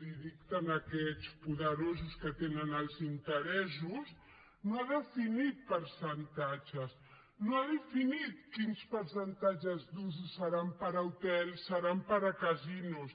li dicten aquests poderosos que tenen els interessos no ha definit percentatges no ha definit quins percentatges d’usos seran per a hotels seran per a casinos